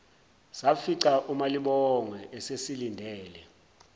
safica umalibongwe esesilindele